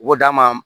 U b'o d'a ma